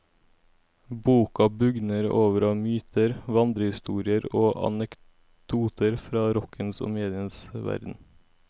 Boka bugner over av myter, vandrehistorier og anekdoter fra rockens og medienes verden.